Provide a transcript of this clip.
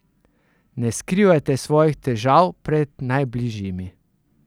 Ne skrivajte svojih težav pred najbližjimi.